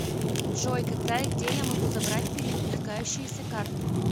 джой когда и где я могу забрать перевыпускающуюся карту